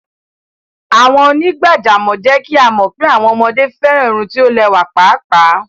Awọn onígbàjàmọ̀ jẹ́ kí a mọ pé awọn ọmọde fẹ́ran irùn tí o lẹwa páápáá.